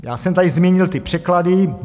Já jsem tady zmínil ty překlady.